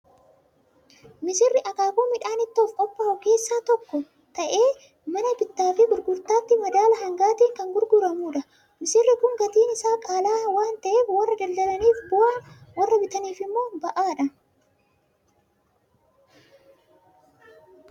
Missirri akaakuu midhaan ittoof qophaa'u keessaa tokko ta'ee, mana bittaa fi gurgurtaatti madaala hangaatiin kan gurguramudha. Missirri kun gatiin isaa qaala'aa waan ta'eef, warra daldalaniif bu'aa, warra bitaniif immoo ba'aadha!